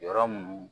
Yɔrɔ mun